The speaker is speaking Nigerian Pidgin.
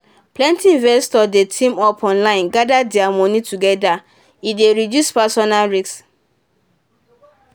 plenty investors dey team up online gather their money together e dey reduce personal risk.